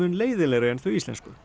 leiðinlegri en þau íslensku